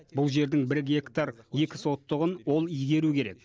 бұл жердің бір гектар екі сотығын ол игеру керек